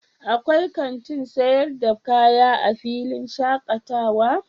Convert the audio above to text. akwai kanti sayar da kaya a filin shakatawa?